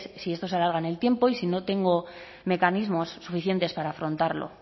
si esto se alarga en el tiempo y no tengo mecanismos suficientes para afrontarlo